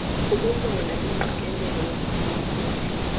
ukulola ingqikelelo yomphulaphuli